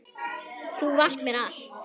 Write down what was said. Þú varst mér allt.